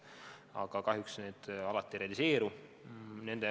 Aga kahjuks see alati ei realiseeru.